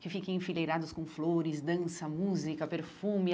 Que fiquem enfileirados com flores, dança, música, perfume.